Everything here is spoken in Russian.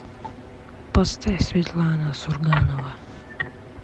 поставь светлана сурганова